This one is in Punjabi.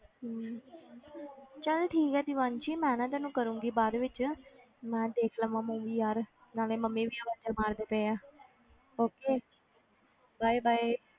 ਹਮ ਚੱਲ ਠੀਕ ਹੈ ਦੀਵਾਂਸ਼ੀ ਮੈਂ ਨਾ ਤੈਨੂੰ ਕਰਾਂਗੀ ਬਾਅਦ ਵਿੱਚ ਮੈਂ ਦੇਖ ਲਵਾਂ movie ਯਾਰ ਨਾਲੇ ਮੰਮੀ ਵੀ ਆਵਾਜ਼ਾਂ ਮਾਰਦੇ ਪਏ ਹੈ okay bye bye